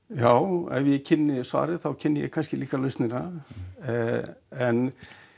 já ef ég kynni svarið þá kynni ég kannski líka lausnina en